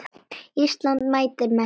Ísland mætir Messi.